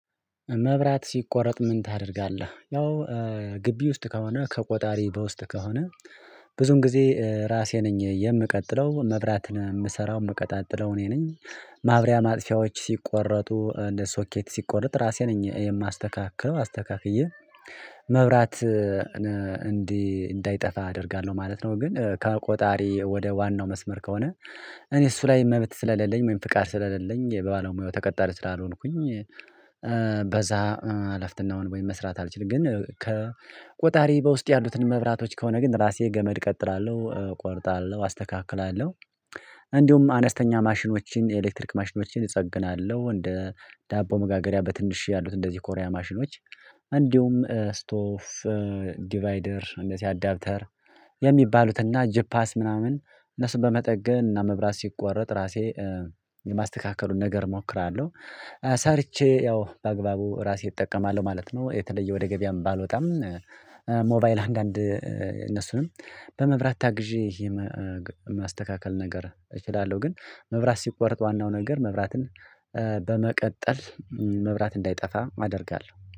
መብራት ሲቆረጥ ምን ታደርጋለ? ያው ግቢ ውስጥ ከሆነ ከቆጣሪ በውስጥ ከሆነ ብዙን ጊዜ ራሴ ነኝ የምቀጥለው፤ መብራትን የምሰራው የምቀጣጥለው እኔ ነኝ። ማብሪያ ማጥፊያዎች ሲቆረጡ እንደ ሶኬት ሲቆረጥ ራሴ ነኝ የማስተካክለው። አስተካክየ መብራት እንዲህ እንዳይጠፋ አደርጋለሁ ማለት ነው ግን ከቆጣሪ ወደ ዋናው መስመር ከሆነ እኔ እሱ ላይ መብት ስለሌለኝ ወይም ፍቃድ ስለሌለኝ የባለሙያው ተቀጣሪ ስላልሆንኩኝ በዛ አለፍትናውን ወይም መስራት አልችልም፤ ግን ከቆጣሪ በውስጥ ያሉትን መብራቶች ከሆነ ግን ራሴ ገመድ እቀጥላለሁ፤ እቆርጣለሁ፤ አስተካክላለሁ። እንዲሁም አነስተኛ ማሽኖችን፣ የኤሌክትሪክ ማሽኖችን እጸግናለሁ እንደ ዳቦ መጋገሪያ በትንሽዬ ያሉት እንደዚህ ኮሪያ ማሽኖች እንዲሁም ስቶፍ ዲቫይደር እነዚህ አዳፕተር የሚባሉትን እና ጂፓስ ምናምን እነሱን በመጠገን እና መብራት ሲቆረጥ ራሴ የማስተካከሉን ነገር እሞክራለሁ፤ ሰርቼ ያው በአግባቡ ራሴ እጠቀማለሁ ማለት ነው፤ የተለየ ወደ ገበያም ባልወጣም ሞባይል አንዳንድ እነሱንም በመብራት ታግዤ ይሄ ማስተካከል ነገር እችላለሁ ግን መብራት ሲቆርጥ ዋናው ነገር መብራትን በመቀጠል መብራት እንዳይጠፋ አደርጋለሁ።